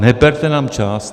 Neberte nám čas.